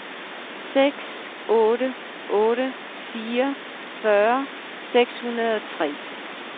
seks otte otte fire fyrre seks hundrede og tre